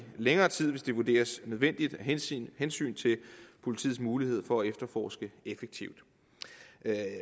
længere tid hvis det vurderes nødvendigt af hensyn hensyn til politiets mulighed for at efterforske effektivt